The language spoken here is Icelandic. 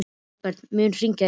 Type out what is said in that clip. Dalbert, mun rigna í dag?